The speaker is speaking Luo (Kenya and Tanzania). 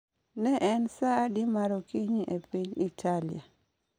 Ne en sa adi mar okinyi e piny Italia?